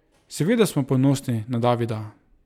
Seveda smo ponosni na Davida!